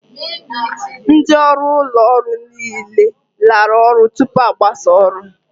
Ndị ọrụ ụlọ ọrụ niile lara ụlọ tupu a gbasas oru